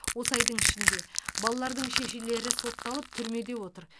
осы айдың ішінде балалардың шешелері сотталып түрмеде отыр